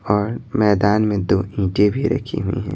और मैदान में दो ईंटें भी रखी हुई हैं।